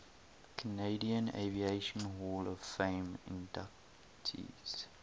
canadian aviation hall of fame inductees